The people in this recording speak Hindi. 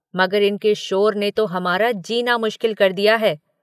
मगर इनके शोर ने तो हमारा जीना मुश्किल कर दिया है।